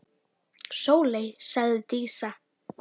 Sóley, sagði Dísa.